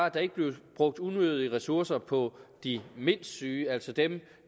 at der ikke blev brugt unødige ressourcer på de mindst syge altså dem